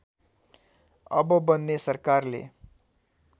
अब बन्ने सरकारले